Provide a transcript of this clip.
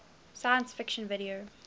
science fiction video